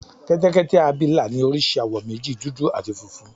Kẹ́tẹ́kẹ́tẹ́ abìlà ní oríṣi àwọ̀ méjì, dúdú áti funfun